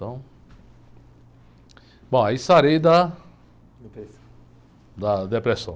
Então... Bom, aí sarei da..epressão. Da depressão.